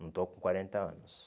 Não estou com quarenta anos.